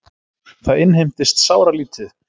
Það innheimtist sáralítið.